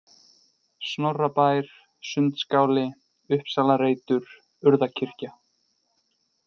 Snorrabær, Sundskáli, Uppsalareitur, Urðakirkja